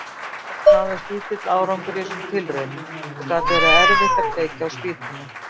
Oft náðist lítill árangur í þessum tilraunum og gat verið erfitt að kveikja á spýtunum.